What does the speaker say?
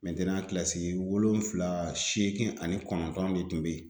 kilasi wolonwula seegin ani kɔnɔntɔn de kun be yen.